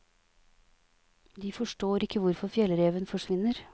De forstår ikke hvorfor fjellreven forsvinner.